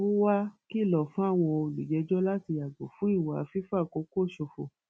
ó wàá kìlọ fáwọn olùjẹjọ láti yàgò fún ìwà fífàkókò ṣòfò